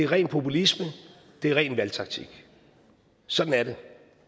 ren populisme ren valgtaktik sådan er det